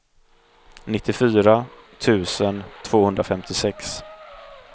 nittiofyra tusen tvåhundrafemtiosex